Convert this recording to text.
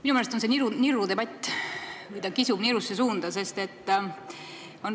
Minu meelest on see niru debatt või see kisub nirusse suunda.